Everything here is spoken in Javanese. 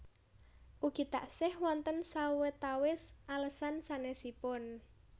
Ugi taksih wonten sawetawis alesan sanèsipun